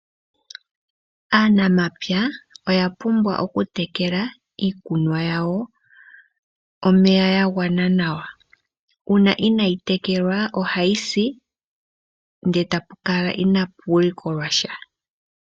Aanamapya oya pumbwa okutekela iikunomwa yawo nomeya gwagwana nawa. Uuna inaayi mona omeya ohayi si nuuwinayi owo mbuno kutya ohapu likolwa sha.